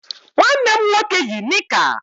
Nwanne m nwoke yi nịka.